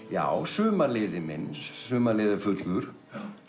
já Sumarliði minn Sumarliði er fullur